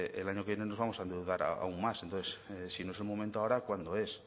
el año que viene nos vamos a endeudar aún más entonces si no es el momento ahora cuándo es